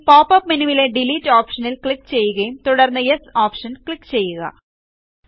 ഇനി പോപ്പപ്പ് മെനുവിലെ ഡിലീറ്റ് ഓപ്ഷനിൽ ക്ലിക്ക് ചെയ്യുകയും തുടർന്ന് യെസ് ഓപ്ഷൻ ക്ലിക്ക് ചെയ്യുക